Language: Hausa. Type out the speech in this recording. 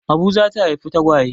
Abu za ta haifi tagwaye.